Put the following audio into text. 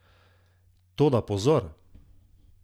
Toda, pozor!